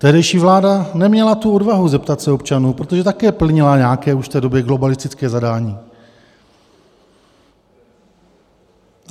Tehdejší vláda neměla tu odvahu zeptat se občanů, protože také plnila nějaké už v té době globalistické zadání.